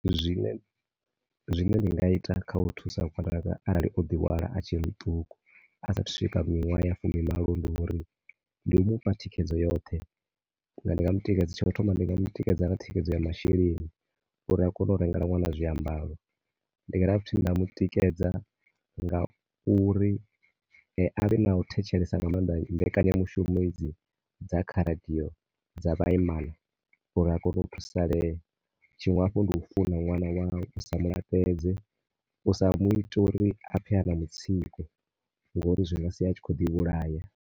Zwine, zwine ndi nga ita kha u thusa ṅwananga arali o ḓi hwala a tshe muṱuku a sa athu swika miṅwaha ya fumimalo. Ndi u mu fha thikhedzo yoṱhe, ndi nga mu tikedza, tsha u thoma ndi nga thikedzo ya masheleni uri a kone u rengela ṅwana zwiambaro. Ndi nga dovha hafhu nda mu tikedza nga u ri a vhe na u thetshelesa nga maanḓa mbekanyamushumo hedzi dza kha radio dza vhaimana uri a kone u thusalea. Tshiṅwe hafhu ndi u funa ṅwana wau, u sa mu laṱedze, u sa mu ite uri a pfhe a na mutsiko ngori zwi nga sia a tshi khou ḓi vhulaya.